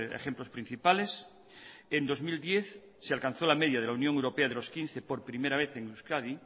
ejemplos principales en dos mil diez se alcanzó la media de la unión europea de los quince por primera vez en euskadi